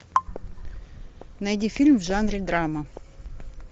найди фильм в жанре драма